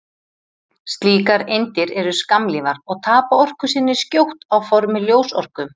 Slíkar eindir eru skammlífar og tapa orku sinni skjótt á formi ljósorku.